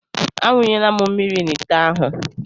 A wunyela m mmiri n'ite ahụ.